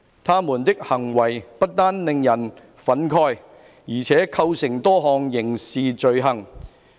他們的行為不單令人憤慨，而且構成多項刑事罪行。